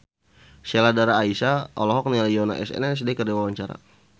Sheila Dara Aisha olohok ningali Yoona SNSD keur diwawancara